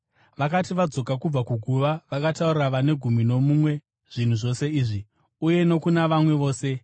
Vakati vadzoka kubva kuguva, vakataurira vane gumi nomumwe zvinhu zvose izvi, uye nokuna vamwe vose.